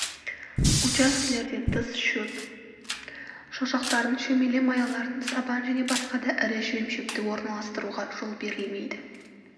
учаскелерден тыс шөп шошақтарын шөмеле маяларын сабан және басқа да ірі жем-шөпті орналастыруға жол берілмейді